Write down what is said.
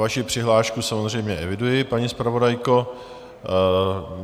Vaši přihlášku samozřejmě eviduji, paní zpravodajko.